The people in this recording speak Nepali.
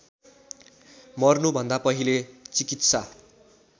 मर्नुभन्दा पहिले चिकित्सा